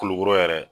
Kulukoro yɛrɛ